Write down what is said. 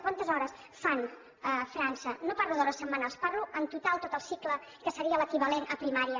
quantes hores fan a frança no parlo d’hores setmanals parlo en total tot el cicle que seria l’equivalent a primària